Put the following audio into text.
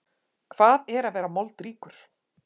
Hvað er að vera moldríkur?